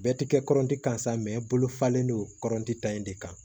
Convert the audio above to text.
Bɛɛ ti kɛ kɔrɔnti kan sa mɛ bolo falen don kɔrɔtan in de kan